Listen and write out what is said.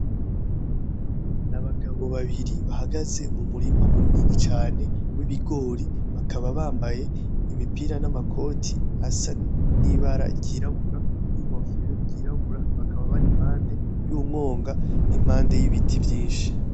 N'abagabo babiri bahagaze mumurima munini cane w'ibigori bakaba bambaye imipira n'amakoti asa nibara ryirabura; ninkofero yirabura bakaba bari impande yumwonga nimpande yibiti vyinshi .